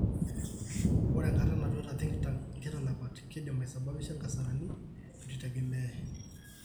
Ore enkata natuta think tank nkitanapat keidim aisababisha nkasarani naa etueitegemeyai.